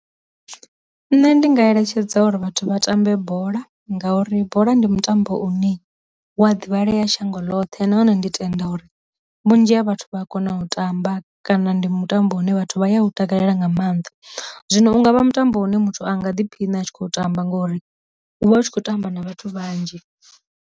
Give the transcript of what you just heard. Nṋe ndi nga eletshedza uri vhathu vha tambe bola ngauri bola ndi mutambo une wa ḓivhalei shango ḽoṱhe nahone ndi tenda uri vhunzhi ha vhathu vha khou kona u tamba kana ndi mutambo une vhathu vha ya u takalela nga maanḓa, zwino unga vha mutambo une muthu anga ḓiphina a tshi khou tamba ngori u vha u tshi khou tamba na vhathu vhanzhi.